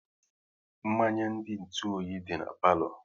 Mmanya dị n'ntu oyi dị na palo